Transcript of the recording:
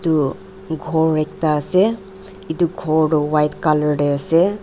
edu khor ekta ase edu ghor toh white colour tae ase.